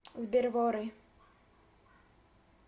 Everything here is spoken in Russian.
сбер вори